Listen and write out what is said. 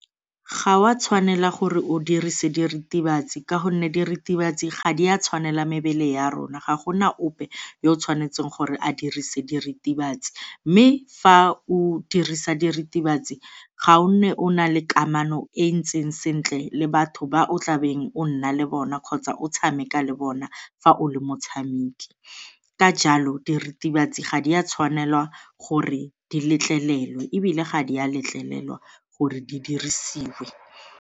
Ga o a tshwanela gore o dirise diritibatsi ka gonne diritibatsi ga di a tshwanela mebele ya rona, ga gona ope yo o tshwanetseng gore a dirise diritibatsi mme fa o dirisa diritibatsi ga o nne o na le kamano e e ntseng sentle le batho ba o tlabeng o nna le bona kgotsa o tshameka le bona fa o le motshameki. Ka jalo, diritibatsi ga di a tshwanela gore di letleletswe ebile ga di a letlelela gore di dirisiwe.